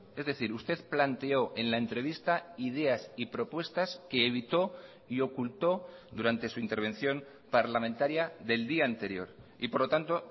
es decir usted planteó en la entrevista ideas y propuestas que evitó y ocultó durante su intervención parlamentaria del día anterior y por lo tanto